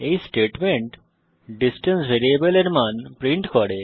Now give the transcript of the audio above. এই statement distance ভ্যারিয়েবলের মান প্রিন্ট করে